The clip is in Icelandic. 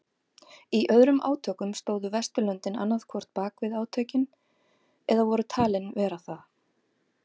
Í öðrum átökum stóðu Vesturlöndin annað hvort bakvið átökin eða voru talin vera það.